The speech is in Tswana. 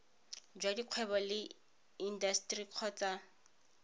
jwa dikgwebo le intaseteri kgotsa